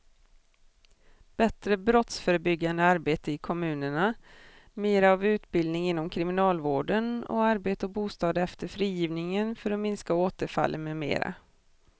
Bättre brottsförebyggande arbete i kommunerna, mera av utbildning inom kriminalvården och arbete och bostad efter frigivningen för att minska återfallen med mera.